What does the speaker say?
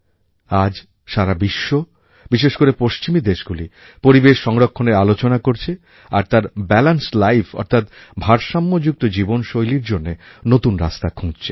আজ সারা বিশ্ব বিশেষ করে পশ্চিমী দেশগুলি পরিবেশ সংরক্ষণের আলোচনা করছে আর তার ব্যালান্স লাইফ অর্থাৎ ভারসাম্যযুক্ত জীবনশৈলীর জন্য নূতন রাস্তা খুঁজছে